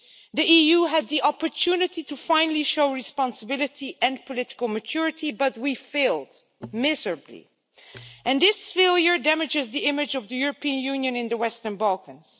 The EU had the opportunity to finally show responsibility and political maturity but we failed, miserably, and this failure damages the image of the European Union in the Western Balkans.